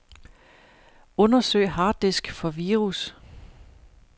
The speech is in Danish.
Undersøg harddisk for virus.